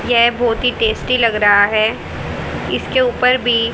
यह बहुत ही टेस्टी लग रहा है इसके ऊपर भी--